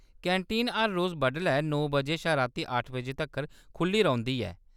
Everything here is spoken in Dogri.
कैंटीन हर रोज बडलै नौ बजे शा राती अट्ठ बजे तक्कर खुʼल्ली रौंह्‌‌‌दी ऐ।